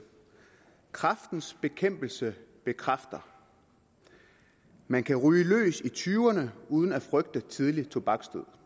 kræftens bekæmpelse bekræfter man kan ryge løs i tyverne uden at frygte tidlig tobaksdød